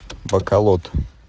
баколод